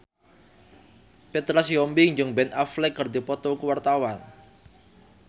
Petra Sihombing jeung Ben Affleck keur dipoto ku wartawan